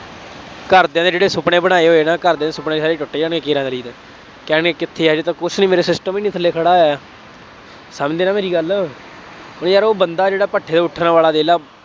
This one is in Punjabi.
ਘਰਦਿਆਂ ਦੇ ਜਿਹੜੇ ਸੁਪਨੇ ਬਣਾਏ ਹੋਏ ਨਾ ਘਰਦਿਆਂ ਦੇ ਸੁਪਨੇ ਸਾਰੇ ਟੁੱਟ ਜਾਣੇ, ਕੇਰਾਂ ਕਰੀ, ਕਹਿਣਗੇ ਕਿੱਥੇ ਹੈ, ਹਜੇ ਤਾਂ ਕੁੱਛ ਨਹੀਂ, ਮੇਰਾ system ਨਹੀਂ ਹਾਲੇ ਖੜ੍ਹਾ ਹੋਇਆ, ਸਮਝੇ ਨਾ ਮੇਰੀ ਗੱਲ, ਉਏ ਯਾਰ ਉਹ ਬੰਦਾ ਜਿਹੜਾ ਭੱਠੇ ਤੋ ਉੱਠਣ ਵਾਲਾ ਦੇਖ ਲਾ,